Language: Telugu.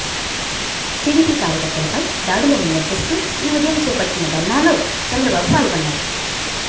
టీడీపీ కార్యకర్తలపై దాడులను నిరసిస్తూ ఈ ఉదయం చేపట్టిన ధర్నాలో చంద్రబాబు పాల్గొన్నారు